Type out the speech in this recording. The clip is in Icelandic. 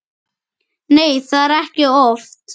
Nei, það er ekki oft.